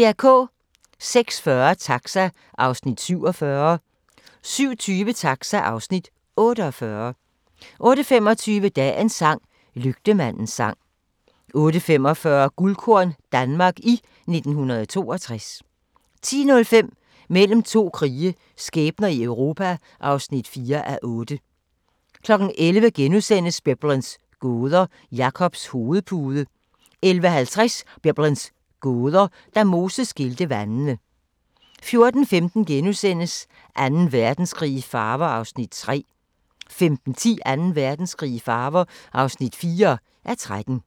06:40: Taxa (Afs. 47) 07:20: Taxa (Afs. 48) 08:25: Dagens sang: Lygtemandens sang 08:45: Guldkorn - Danmark i 1962 10:05: Mellem to krige – skæbner i Europa (4:8) 11:00: Biblens gåder – Jakobs hovedpude * 11:50: Biblens gåder – Da Moses skilte vandene 14:15: Anden Verdenskrig i farver (3:13)* 15:10: Anden Verdenskrig i farver (4:13) 16:05: Den klassiske musikquiz (4:8)*